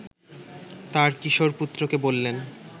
তাঁর কিশোর পুত্রকে বললেন